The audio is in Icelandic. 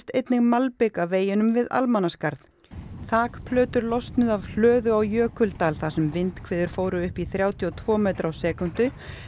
einnig malbik af veginum við Almannaskarð losnuðu af hlöðu á Jökuldal þar sem vindhviður fóru upp í þrjátíu og tveggja metra á sekúndu